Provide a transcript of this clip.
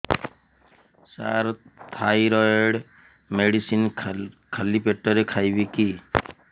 ସାର thyroid medicine ଖାଲି ପେଟରେ ଖାଇବି କି